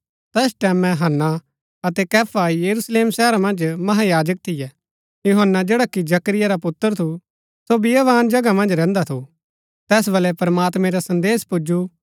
तैस टैमैं हन्ना अतै कैफा यरूशलेम शहरा मन्ज महायाजक थियै यूहन्‍ना जैडा कि जकरिया रा पुत्र थू सो बियावान जगहा मन्ज रैहन्दा थू तैस बलै प्रमात्मैं रा संदेसा पुजु